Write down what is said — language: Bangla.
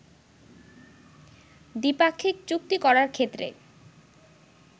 দ্বিপাক্ষিক চুক্তি করার ক্ষেত্রে